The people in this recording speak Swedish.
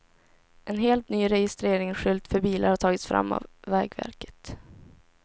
En helt ny registreringsskylt för bilar har tagits fram av vägverket.